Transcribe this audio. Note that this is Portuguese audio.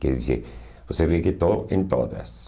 Quer dizer, você vê que estou em todas.